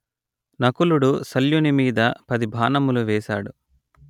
నకులుడు శల్యుని మీద పది బాణములు వేసాడు